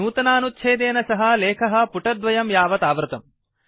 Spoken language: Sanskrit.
नूतनानुच्छेदेन सह लेखः पुटद्वयं यावत् आवृतम्